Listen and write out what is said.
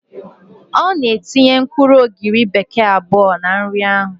Ọ na-etinye mkpụrụ ogiri bekee abụọ na nri ahụ